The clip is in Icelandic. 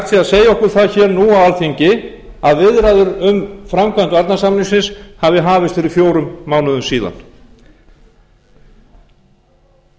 að segja okkur það hér nú á alþingi að viðræður um framkvæmd varnarsamningsins hafi hafist fyrir fjórum mánuðum síðan í